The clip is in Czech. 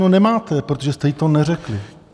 No nemáte, protože jste jí to neřekli!